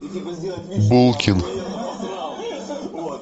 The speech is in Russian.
булкин